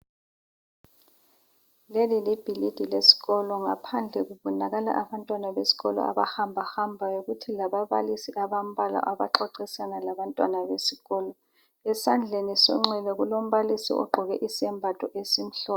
leli libhilidi lesikolo ngaphandle kubonakala abantwana besikolo abahamba hambayo kuthi lababalisi abambalwa abaxoxisana labantwana besikolo esandleni sonxele kulombalisi ogqoke isembatho esimhlophe